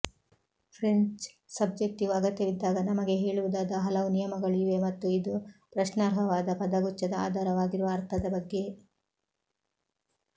French subjective ಅಗತ್ಯವಿದ್ದಾಗ ನಮಗೆ ಹೇಳುವುದಾದ ಹಲವು ನಿಯಮಗಳು ಇವೆ ಮತ್ತು ಇದು ಪ್ರಶ್ನಾರ್ಹವಾದ ಪದಗುಚ್ಛದ ಆಧಾರವಾಗಿರುವ ಅರ್ಥದ ಬಗ್ಗೆ